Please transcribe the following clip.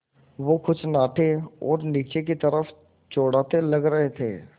वो कुछ नाटे और नीचे की तरफ़ चौड़ाते लग रहे थे